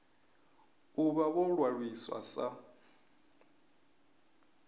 u vha vho ṅwaliswa sa